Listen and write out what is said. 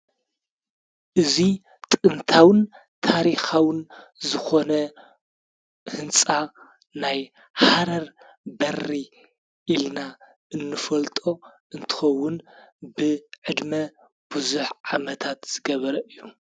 እዙይ ጥምታውን ታሪኻውን ዝኾነ ሕንፃ ናይ ሓረር በሪ ኢልና እንፈልጦ እንትኸውን ብ ዕድመ ብዙኅ ዓመታት ዝገበረ እዩ።